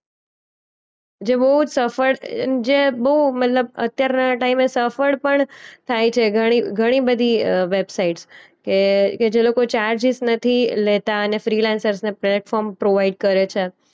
જે બોજ સફળ અમ જે બો મતલબ અત્યારના ટાઈમે સફળ પણ થાય છે ઘણી ઘણીબધી અ વેબસાઈટકે કે જે લોકો ચાર્જિસ નથી લેતા અને ફ્રીલેન્સર્સ ને પ્લેટફોર્મ પ્રોવાઈડ કરે છે.